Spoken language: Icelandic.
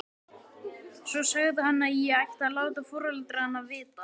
Svo sagði hann að ég ætti að láta foreldrana vita.